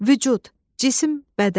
Vücud, cisim, bədən.